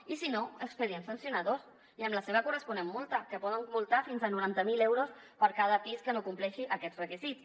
i si no expedients sancionadors i amb la seva corresponent multa que poden multar fins a noranta mil euros per cada pis que no compleixi aquests requisits